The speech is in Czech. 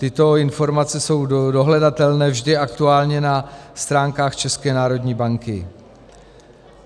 Tyto informace jsou dohledatelné vždy aktuálně na stránkách České národní banky.